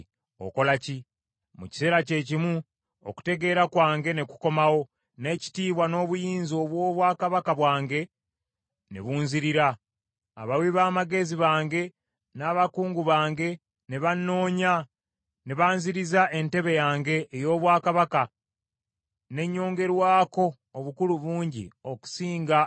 Mu kiseera kyekimu okutegeera kwange ne kukomawo, n’ekitiibwa n’obuyinza obw’obwakabaka bwange ne bunzirira. Abawi b’amagezi bange n’abakungu bange ne bannoonya, ne banziriza entebe yange ey’obwakabaka ne nnyongerwako obukulu bungi okusinga ne bwe nalina.